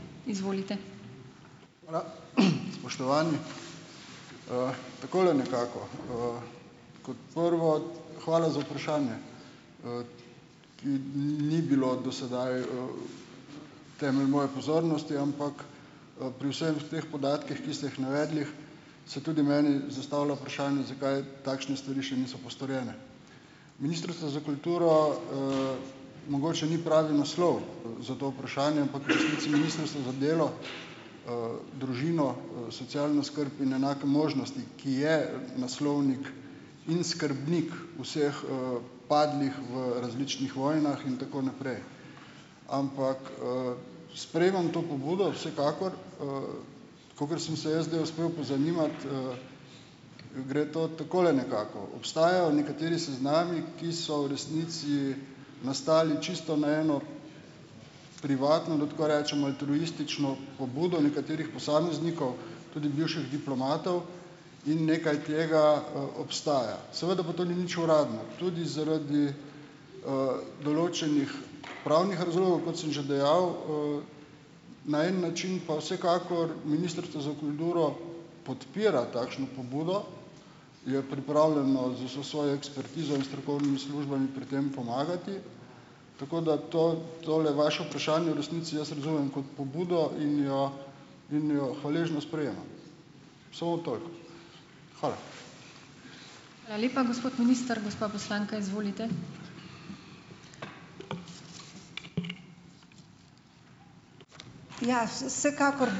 Spoštovani. Takole nekako. Kot prvo, hvala za vprašanje, ki ni bilo do sedaj temelj moje pozornosti, ampak, pri vsem teh podatkih, ki ste jih navedli, se tudi meni zastavila vprašanje, zakaj takšne stvari še niso postorjene. Ministrstvo za kulturo mogoče ni pravi naslov za to vprašanje, ampak v resnici Ministrstvo za delo, družino, socialno skrb in enake možnosti, ki je naslovnik in skrbnik vseh, padlih v različnih vojnah in tako naprej. Ampak sprejemam to pobudo, vsekakor. Kakor sem se jaz zdaj uspel pozanimati, gre to takole nekako: obstajajo nekateri seznami, ki so v resnici nastali čisto na eno privatno, da tako rečem, altruistično pobudo nekaterih posameznikov, tudi bivših diplomatov in nekaj tega obstaja. Seveda pa to ni nič uradno, tudi zaradi določenih pravnih razlogov, kot sem že dejal, na en način pa vsekakor Ministrstvo za kulturo podpira takšno pobudo, je pripravljeno z vso svojo ekspertizo in strokovnimi službami pri tem pomagati, tako da to tole vaše vprašanje v resnici jaz razumem kot pobudo in jo in jo hvaležno sprejemam. Samo toliko, hvala.